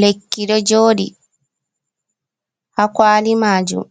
Lekki do jodi ha kwali majum